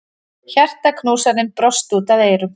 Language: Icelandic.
Hjartaknúsarinn brosti út að eyrum.